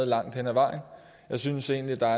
langt hen ad vejen jeg synes egentlig der